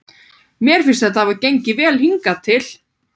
Mér finnst þetta hafa gengið vel hingað til.